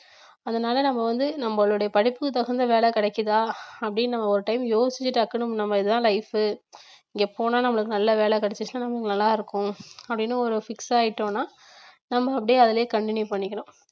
அதனால நம்ம வந்து நம்மளுடைய படிப்புக்கு தகுந்த வேலை கிடைக்குதா அப்படின்னு நம்ம ஒரு time யோசிச்சு டக்குன்னு நம்ம இதுதான் life உ இங்க போனா நம்மளுக்கு நல்ல வேலை கிடைச்சிருச்சா நமக்கு நல்லா இருக்கும் அப்படின்னு ஒரு fix ஆயிட்டோம்னா நம்ம அப்படியே அதிலேயே continue பண்ணிக்கணும்